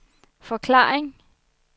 forklaring